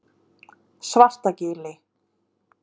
Svartagili